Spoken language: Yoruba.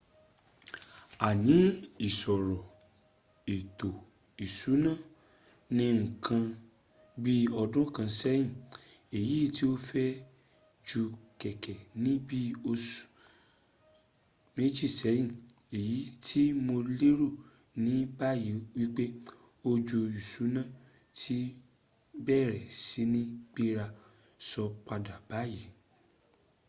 a ni isoro eto isuna ni nkan bi odun kan seyin eyi ti o feju keke ni bi osu meji seyin eyiti mo lero ni bayi wipe ojo isuna ti bere si ni gbera so pada bayi